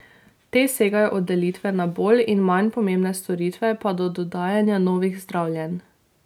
Te segajo od delitve na bolj in manj pomembne storitve pa do dodajanja novih zdravljenj.